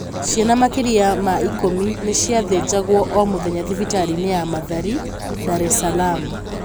Ciana makĩria ma ikũmi nĩ ciathĩnjagwo o mũthenya thibitarĩ-inĩ ya Mathari, Dar es Salaam.